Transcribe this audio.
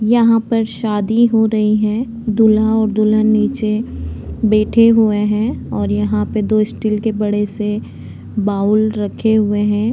यहाँ पर शादी हो रही है दूल्हा और दुल्हन निचे बैठें हुए हैं और यहाँ पे स्टील के दो बड़े से बाउल रखें हुए हैं।